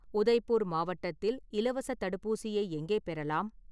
உதய்பூர் மாவட்டத்தில் இலவசத் தடுப்பூசியை எங்கே பெறலாம்?